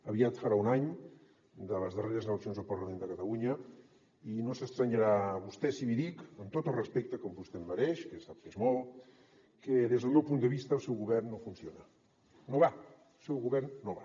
aviat farà un any de les darreres eleccions al parlament de catalunya i no es deurà estranyar vostè si li dic amb tot el respecte que vostè em mereix que sap que és molt que des del meu punt de vista el seu govern no funciona no va el seu govern no va